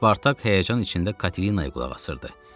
Spartak həyəcanın içində Katelinaya qulaq asırdı.